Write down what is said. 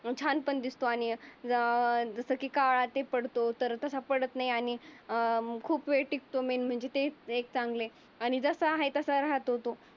छान पण दिसतो आणि या अं जस की काळा ते पडतो. तर तसा तो पडत नाही अं खूप टिकतो मेन म्हणजे ते चांगले. आणि जसा हाय तसा राहत तो